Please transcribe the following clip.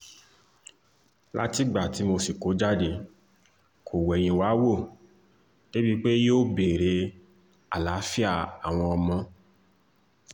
látìgbà tí mo sì kó jáde kó wẹ̀yìn wá wò débií pé yóò béèrè àlàáfíà àwọn ọmọ